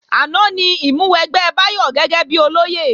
Àná ni ìmúwẹgbẹ́ Báyọ̀ gẹ́gẹ́bí olóyè